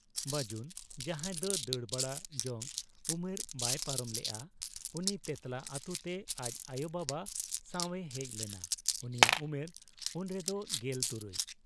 ᱵᱟᱹᱡᱩᱱ, ᱡᱟᱦᱟᱸᱭ ᱫᱚ ᱫᱟᱹᱲ ᱵᱟᱲᱟ ᱡᱚᱝ ᱩᱢᱮᱨ ᱵᱟᱭ ᱯᱟᱨᱚᱢ ᱞᱮᱜ ᱟ; ᱩᱱᱤ ᱛᱮᱸᱛᱞᱟ ᱟᱹᱛᱩᱛᱮ ᱟᱡ ᱟᱭᱚ ᱵᱟᱵᱟ ᱥᱟᱶ ᱮ ᱦᱮᱡ ᱞᱮᱱᱟ, ᱩᱱᱤᱭᱟᱜ ᱩᱢᱮᱨ ᱩᱱᱨᱮᱫᱚ ᱜᱮᱞ ᱛᱩᱨᱩᱭ ᱾